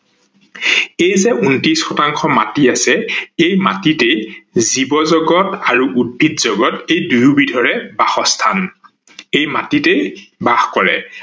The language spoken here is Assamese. এই যে ঊন্ত্ৰিশ শতাংশ মাটি আছে সেই মাটিতে জীবজগত আৰু উদ্ভিদ জগত এই দুই বিধৰে বাসস্থান ।সেই মাটিতে বাস কৰে